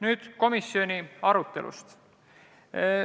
Nüüd komisjoni arutelust.